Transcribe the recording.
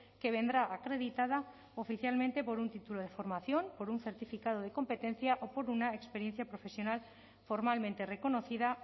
que vendrá acreditada oficialmente por un título de formación por un certificado de competencia o por una experiencia profesional formalmente reconocida